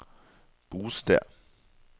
bosted